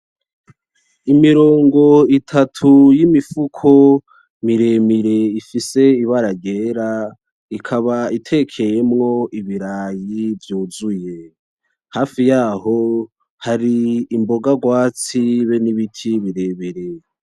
imirongo itatu yimifuko miremire ifise ibara ryera ikaba tekeyemwo ibirayi vyuzuye hafi yaho hari imboga rwatsi be nibiti birebire